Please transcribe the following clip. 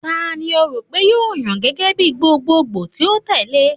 Tani o ro pe yoo yan gẹgẹ bi gbogbogbo ti o tẹle?